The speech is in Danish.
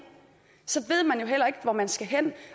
ved man jo heller ikke hvor man skal hen det